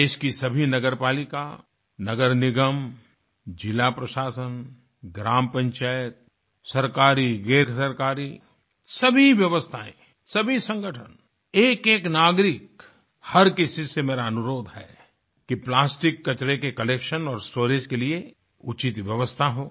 देश की सभी नगरपालिका नगरनिगम जिलाप्रशासन ग्रामपंचायत सरकारीगैरसरकारी सभी व्यवस्थाएँ सभी संगठन एकएक नागरिक हर किसी से मेरा अनुरोध है कि प्लास्टिक कचरे के कलेक्शन और स्टोरेज के लिए उचित व्यवस्था हो